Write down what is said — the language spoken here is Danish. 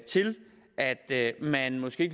til at man måske